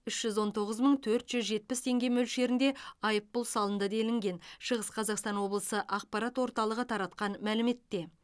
үш жүз он тоғыз мың төрт жүз жетпіс теңге мөлшерінде айыппұл салынды делінген шығыс қазақстан облысы ақпарат орталығы таратқан мәліметте